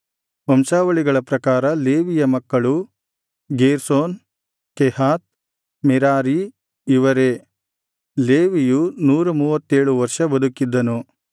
ವಂಶಾವಳಿಗಳ ಪ್ರಕಾರ ಲೇವಿಯರ ಮಕ್ಕಳು ಗೇರ್ಷೋನ್ ಕೆಹಾತ್ ಮೆರಾರೀ ಇವರೇ ಲೇವಿಯು ನೂರ ಮೂವತ್ತೇಳು ವರ್ಷ ಬದುಕಿದ್ದನು